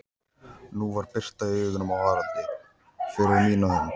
Nú var birta í augunum á Haraldi, fyrir mína hönd.